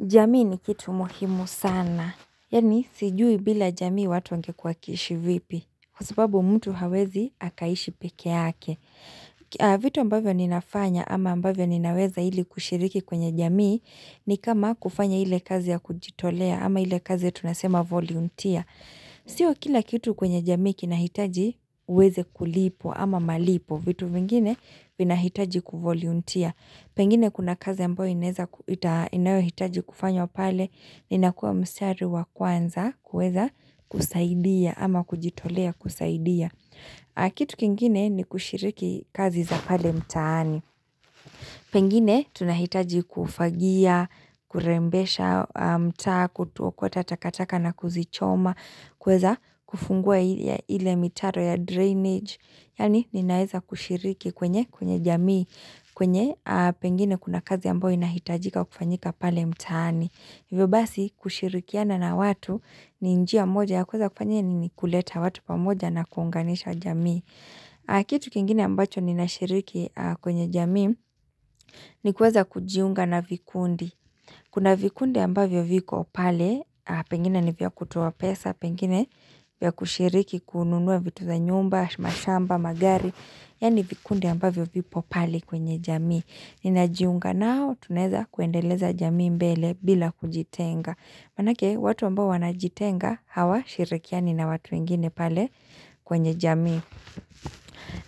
Jamii ni kitu muhimu sana, yaani sijui bila jamii watu wangekua wakiishi vipi, kwa sababu mtu hawezi akaishi peke yake. Vitu ambavyo ninafanya ama ambavyo ninaweza ili kushiriki kwenye jamii ni kama kufanya ile kazi ya kujitolea ama ile kazi ya tunasema volunteer. Sio kila kitu kwenye jamii kinahitaji uweze kulipwa ama malipo, vitu vingine vinahitaji kuvolunteer. Pengine kuna kazi ambayo inayohitaji kufanywa pale, inakua mstari wa kwanza kueza kusaidia ama kujitolea kusaidia. Kitu kengine ni kushiriki kazi za pale mtaani. Pengine tunahitaji kufagia, kurembesha mtaa, kuokota takataka na kuzichoma, kueza kufungua ile mitaro ya drainage. Yaani ninaeza kushiriki kwenye kwenye jamii, kwenye pengine kuna kazi ambayo inahitajika kufanyika pale mtaani. Hivyo basi kushirikiana na watu ni njia moja ya kueza kufanyia nini kuleta watu pamoja na kuunganisha jamii. Kitu kingine ambacho ninashiriki kwenye jamii ni kueza kujiunga na vikundi. Kuna vikundi ambavyo vipo pale, pengine ni vya kutoa pesa, pengine vya kushiriki kununua vitu za nyumba, mashamba, magari, yaani vikunde ambavyo vipo pale kwenye jamii. Ninajiunga nao, tunaeza kuendeleza jamii mbele bila kujitenga. Maanake, watu ambao wanajitenga, hawashirikiani na watu wengine pale kwenye jamii.